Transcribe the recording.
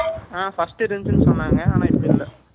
அ, first இருந்துச்சுன்னு சொன்னாங்க. ஆனா, இப்ப இல்லை